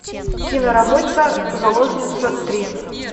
киноработа заложница три